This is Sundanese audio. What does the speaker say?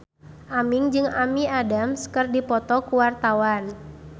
Aming jeung Amy Adams keur dipoto ku wartawan